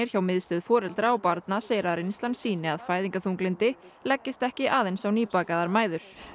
hjá Miðstöð foreldra og barna segir að reynslan sýni að fæðingarþunglyndi leggist ekki aðeins á nýbakaðar mæður